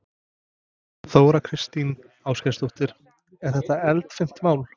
Þóra Kristín Ásgeirsdóttir: Er þetta eldfimt mál?